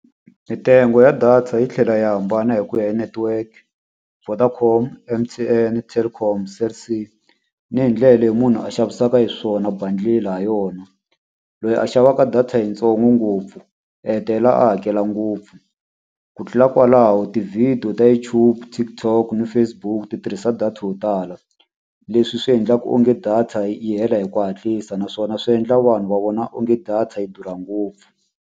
Mintsengo ya data yi tlhela yi hambana hi ku ya hi network, Vodacom, M_T_N, Telkom, Cell C ni hi ndlela leyi munhu a xavisaka hi xiswona bundle ha yona. Loyi a xavaka data yitsongo ngopfu, u hetelela a hakela ngopfu. Ku tlula kwalaho tivhidiyo ta YouTube, TikTok na Facebook ti tirhisa data yo tala, leswi swi endlaka onge data yi yi hela hi ku hatlisa naswona swi endla vanhu va vona onge data yi durha ngopfu.